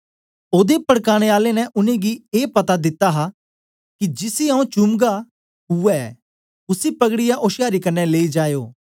ओदे पड़काने आले ने उनेंगी ए पता दिते दा हां कि जिसी आऊँ चूमगा उवै ऐ उसी पकड़ीयै ओशयारी कन्ने लेई जाए ओ